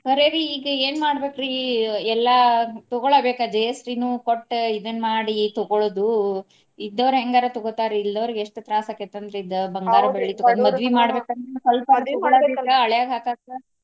ಖರೆ ರಿ ಈಗ ಏನ ಮಾಡ್ಬೇಕ್ರಿ ಎಲ್ಲಾ ತಗೋಳಬೇಕ GST ನು ಕೊಟ್ಟ ಇದನ್ನ ಮಾಡಿ ತಗೋಳೋದು ಇದ್ದವ್ರ ಹೆಂಗರ ತಗೊಂಡ್ ಇಲ್ದವ್ರಿಗೆ ಎಷ್ಟು ತ್ರಾಸ ಆಕ್ಕೇತಿ ಅಂದ್ರ ಇದ ಬಂಗಾರ ಬೆಳ್ಳಿ ತುಗೊಂಡ ಮದ್ವಿ ಮಾಡ್ಬೇಕ ಅಂದ್ರ ಸ್ವಲ್ಪರ ತಗೋಬೇಕ ಹಳೆಯದು ಹಾಕಾಕ.